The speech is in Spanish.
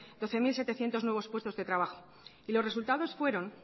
doce mil setecientos nuevos puestos de trabajo y los resultados fueron